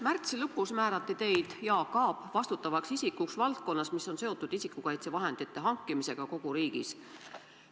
Märtsi lõpus määrati teid, Jaak Aab, vastutavaks isikuks valdkonnas, mis on seotud isikukaitsevahendite hankimisega kogu riigis.